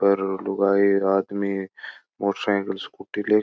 पर लुगाई आदमी एक मोटर साईकिल स्कूटी ले --